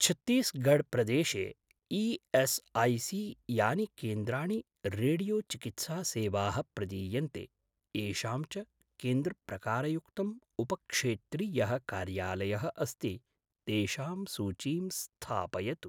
छत्तीसगढ् प्रदेशे ई.एस्.ऐ.सी.यानि केन्द्राणि रेडियो चिकित्सा सेवाः प्रदीयन्ते, येषां च केन्द्रप्रकारयुक्तं उपक्षेत्रीयः कार्यालयः अस्ति, तेषां सूचीं स्थापयतु।